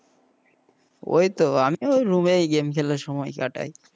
ওই তো আমিও ওই রুমই game খেলে সময় কাটাই,